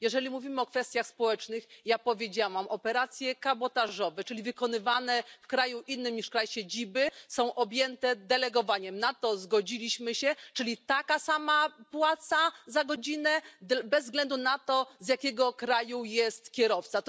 Jeżeli mówimy o kwestiach społecznych, ja powiedziałam operacje kabotażowe, czyli wykonywane w kraju innym niż kraj siedziby, są objęte delegowaniem. Na to zgodziliśmy się czyli taka sama płaca za godzinę bez względu na to, z jakiego kraju jest kierowca.